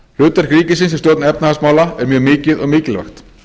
hlutverk ríkisins í stjórn efnahagsmála er mjög mikið og mikilvægt